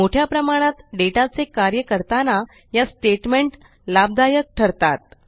मोठ्या प्रमाणात डेटा चे कार्य करताना या स्टेट्मेंट लाभदायक ठरतात